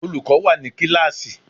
Olùkọ́ wà ní kíláàsì.